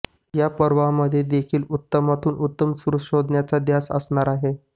या पर्वामध्ये देखील उत्तमातून उत्तम सूर शोधण्याचा ध्यास असणार आहे